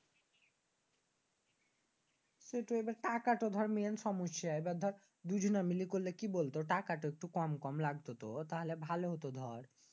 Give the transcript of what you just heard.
সেটাই টাকাটা দর Main সমস্যা। এবার দর মিলে করলে কি বলতো টাকাটা একটু কম কম লাগতো। তাইলে ভালো হত বল।